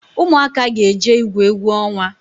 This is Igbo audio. Ụmụaka ga jee igwu egwu onwa